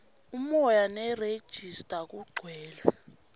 umoya nerejista kugcwele